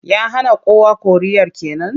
Ya hana kowa koriyar ke nan?